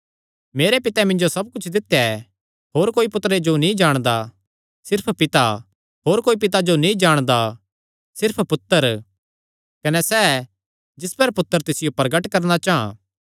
मेरे पितैं मिन्जो सब कुच्छ दित्या ऐ होर कोई पुत्तरे जो नीं जाणदा सिर्फ पिता होर कोई पिता जो नीं जाणदा सिर्फ पुत्तर कने सैह़ जिस पर पुत्तर तिसियो प्रगट करणा चां